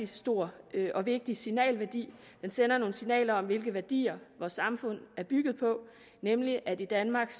stor og vigtig signalværdi den sender nogle signaler om hvilke værdier vores samfund er bygget på nemlig at i danmark